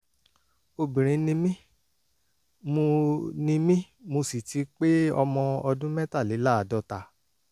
obìnrin ni mí mo ni mí mo sì ti pé ọmọ ọdún mẹ́tàléláàádọ́ta